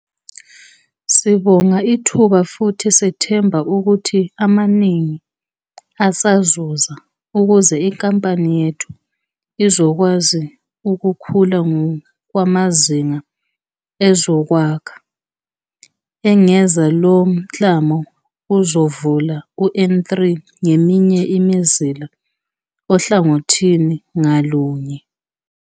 "Sibonga ithuba futhi sethemba ukuthi amaningi asazoza ukuze inkampani yethu izokwazi ukukhula ngokwamazinga ezokwakha," engeza. Lo mklamo uzovula u-N3 ngeminye imizila ohlangothini ngalunye.